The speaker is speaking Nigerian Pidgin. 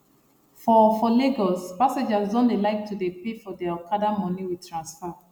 for for lagos passengers don dey like to dey pay for their okada money with transfer